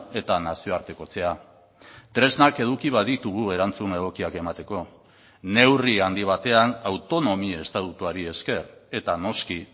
eta nazioartekotzea tresnak eduki baditugu erantzun egokiak emateko neurri handi batean autonomi estatutuari esker eta noski